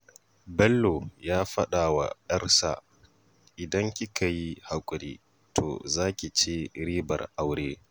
Bello ya faɗa wa 'yarsa cewa, 'idan kika yi haƙuri to za ki ci ribar aure.